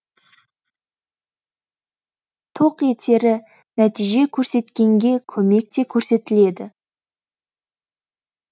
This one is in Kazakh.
тоқ етері нәтиже көрсеткенге көмек те көрсетіледі